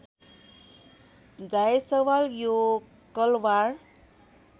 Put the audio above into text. जायसवाल यो कलवार